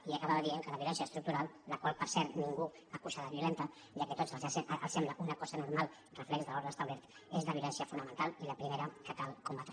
i acabava dient que la violència estructural la qual per cert ningú acusa de violenta ja que a tots els sembla una cosa normal reflex de l’ordre establert és la violència fonamental i la primera que cal combatre